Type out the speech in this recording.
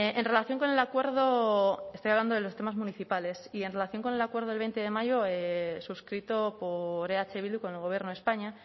en relación con el acuerdo estoy hablando de los temas municipales y en relación con el acuerdo del veinte de mayo suscrito por eh bildu con el gobierno de españa